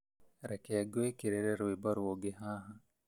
Reke ngũĩkĩrĩre rwĩmbo rũngĩ haha